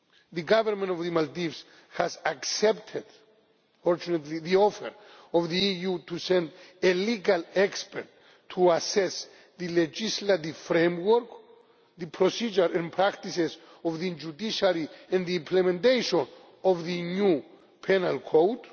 The Government of the Maldives has accepted, fortunately, the offer of the EU to send a legal expert to assess the legislative framework, the procedures and practices of the judiciary, and the implementation of the new penal code.